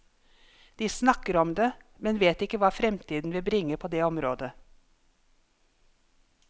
De snakker om det, men vet ikke hva fremtiden vil bringe på det området.